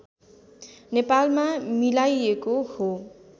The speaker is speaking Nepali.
नेपालमा मिलाइएको हो